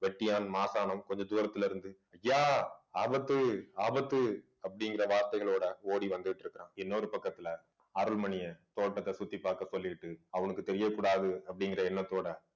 வெட்டியான் மாசாணம் கொஞ்ச தூரத்திலே இருந்து ஐயா ஆபத்து ஆபத்து அப்படிங்கிற வார்த்தைகளோட ஓடி வந்துட்டிருக்கிறான் இன்னொரு பக்கத்துல அருள்மணியை தோட்டத்தை சுத்தி பாக்க சொல்லிட்டு அவனுக்கு தெரியக்கூடாது அப்படிங்கிற எண்ணத்தோட